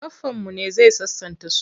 Baffanmu ne zai sasanta su.